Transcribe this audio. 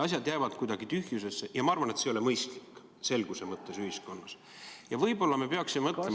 Asjad jäävad kuidagi tühjusesse ja ma arvan, et see ei ole selguse mõttes ühiskonnas mõistlik.